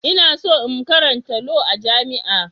Ina so in karanta Law a jami'a.